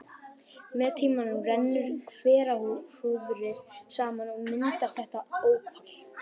Með tímanum rennur hverahrúðrið saman og myndar þéttan ópal.